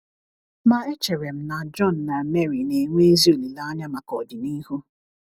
Ma echere m na John na Mary na - enwe ezi olileanya maka ọdịnihu. ”